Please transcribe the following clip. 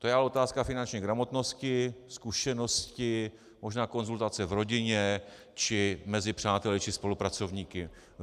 To je ale otázka finanční gramotnosti, zkušenosti, možná konzultace v rodině či mezi přáteli či spolupracovníky.